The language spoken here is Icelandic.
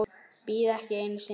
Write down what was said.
Bíð ekki einu sinni.